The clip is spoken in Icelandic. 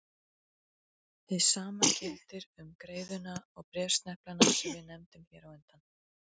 Hið sama gildir um greiðuna og bréfsneplana sem við nefndum hér á undan.